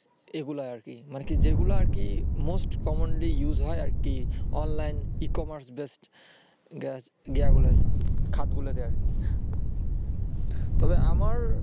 এগুলো আরকি যেগুলো আরকি most commonly use হয় আরকি online, e-commerce based ইয়েগুলায় খাৎগুলোতে আরকি তবে আমার